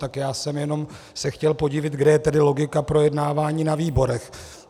Tak já jsem se jenom chtěl podivit, kde je tedy logika projednávání na výborech.